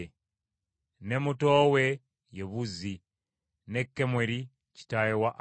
ne muto we ye Buzi, ne Kemweri kitaawe wa Alamu,